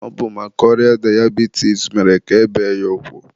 Ọ bụ maka ọrịa dayabitis mere ka e bee ya ụkwụ.